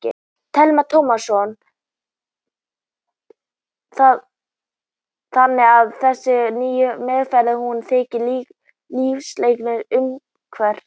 Telma Tómasson: Þannig að þessi nýja meðferð, hún eykur lífslíkurnar umtalsvert?